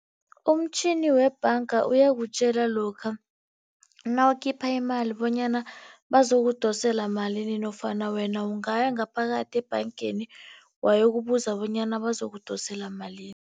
Umtjhini webhanga uyakutjela lokha nawukhipha iimali bonyana bazokudosela malini nofana wena ungaya ngaphakathi ebhangeni, wayokubuza bonyana bazokudosela malini.